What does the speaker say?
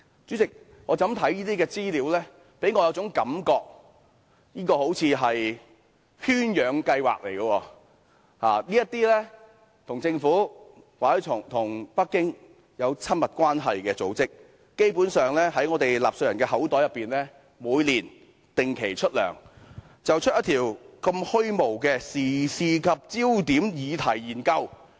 主席，這些資料給予我一種感覺，這好像是圈養計劃似的，這些與政府或北京有親密關係的組織，基本上每年從我們納稅人的口袋定期出糧，產生出如此虛無的時事焦點議題研究。